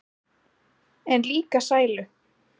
En líka sælu.